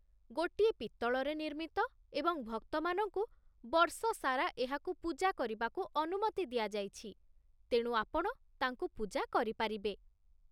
ଗୋଟିଏ ପିତ୍ତଳରେ ନିର୍ମିତ ଏବଂ ଭକ୍ତମାନଙ୍କୁ ବର୍ଷସାରା ଏହାକୁ ପୂଜା କରିବାକୁ ଅନୁମତି ଦିଆଯାଇଛି, ତେଣୁ ଆପଣ ତାଙ୍କୁ ପୂଜା କରିପାରିବେ।